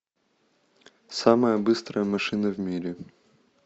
самая быстрая машина в мире